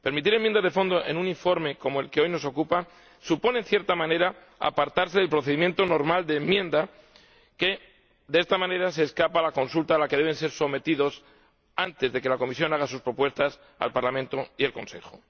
Permitir enmiendas de fondo en un informe como el que hoy nos ocupa supone, en cierta manera, apartarse del procedimiento normal de enmienda, que, de esta manera, escapa a la consulta a la que debe ser sometido antes de que la Comisión haga sus propuestas al Parlamento y al Consejo.